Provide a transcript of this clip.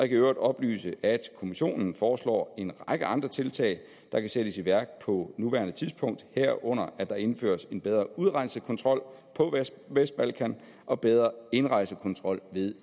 i øvrigt oplyse at kommissionen foreslår en række andre tiltag der kan sættes i værk på nuværende tidspunkt herunder at der indføres en bedre udrejsekontrol på vestbalkan og bedre indrejsekontrol ved